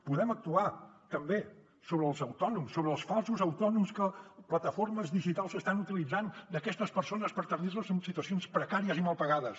podem actuar també sobre els autònoms sobre els falsos autònoms que plataformes digitals estan utilitzant aquestes persones per tenir les en situacions precàries i mal pagades